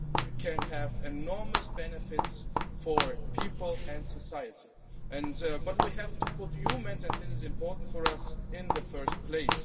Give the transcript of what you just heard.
AI can have enormous benefits for people and society, but we have to put humans and this is important for us in first place.